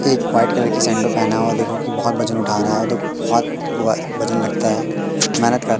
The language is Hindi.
एक वाइट कलर की सैंडो पहना हुआ है देखो की बहुत वजन उठा रहा है औ देखो बहोत व वजन लगता है मेहनत कर--